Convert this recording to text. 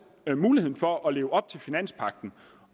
er en mulighed for at leve op til finanspagten